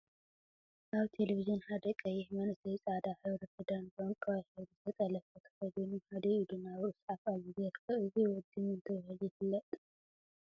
አብ ቴሌቪዝን ሓደ ቀይሕ መንእሰይ ፃዕዳ ሕብሪ ክዳን ብዕንቋይ ሕብሪ ዝተጠለፈ ተከዲኑ ሓደ ኢዱ ናብ ርእሱ ሓፍ አቢሉ ይርከብ፡፡ እዚ ወዲ መን ተባሂሉ ይፍለጥ፡?